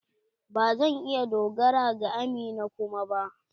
Ba zan iya dogara ga amina kuma ba.